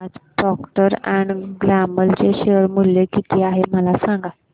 आज Procter and Gamble चे share मूल्य किती आहे मला सांगा